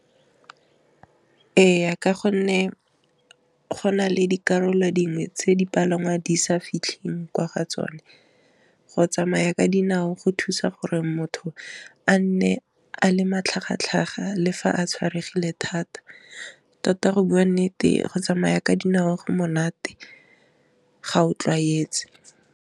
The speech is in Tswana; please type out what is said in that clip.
E ya ka gonne go na le dikarolo dingwe tse dipalangwa di sa fitlheng kwa ga tsone, go tsamaya ka dinao go thusa gore motho a nne a le matlhagatlhaga le fa a tshwaetsegile thata, tota go bua nnete go tsamaya ka dinao go monate ga o tlwaetse.